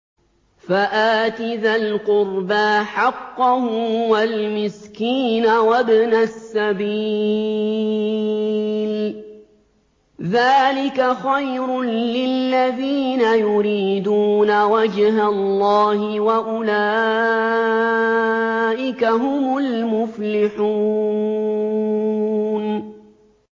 فَآتِ ذَا الْقُرْبَىٰ حَقَّهُ وَالْمِسْكِينَ وَابْنَ السَّبِيلِ ۚ ذَٰلِكَ خَيْرٌ لِّلَّذِينَ يُرِيدُونَ وَجْهَ اللَّهِ ۖ وَأُولَٰئِكَ هُمُ الْمُفْلِحُونَ